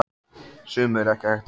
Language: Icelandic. Sumu er ekki hægt að venjast.